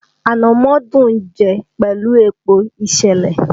Ànàmọ́ dùn ún jẹ́ pẹ̀lú epo ìsèlè